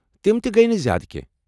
تم تہ گٔیہ نہٕ زیٛادٕ کٮ۪نٛہہ۔